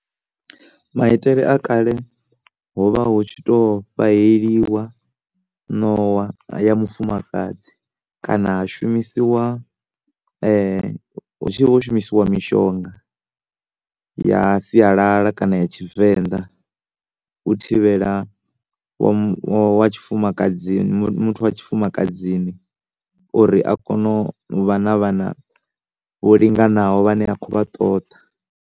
Maitele a kale ho vha hu tshi to fhaheliwa nowa ya mufumakadzi kana ha shumisiwa hu tshi vha ho shumisiwa mishonga ya sialala kana ya tshivenḓa u thivhela wamu, wa tshifumakadzini, muthu wa tshifumakadzini uri a kone u vha na vhana vho linganaho vhane a kho vha ṱoḓa.